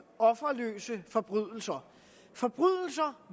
offerløse forbrydelser